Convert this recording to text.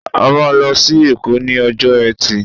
A máa lọ sí èkó ní ọjọ́ etí